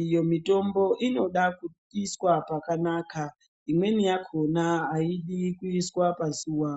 iyo mitombo inoda kuisa pakanaka . Imweni yakhona haidi kuiswa pazuwa.